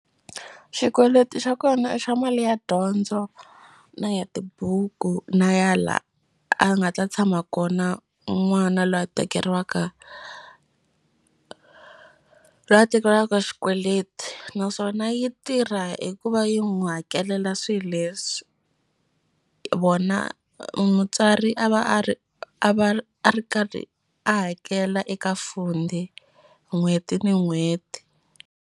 Xikweleti xa kona i xa mali ya dyondzo na ya tibuku na ya la a nga ta tshama kona n'wana lwa tekeriwaka lwa tekeriwaka xikweleti naswona yi tirha hi ku va yi n'wu hakelela swi leswi vona mutswari a va a ri a va a ri karhi a hakela eka Fundi n'hweti ni n'hweti.